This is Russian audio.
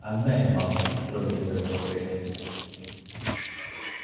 отдай малфой строго приказал перси